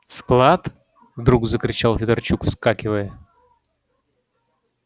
склад вдруг закричал федорчук вскакивая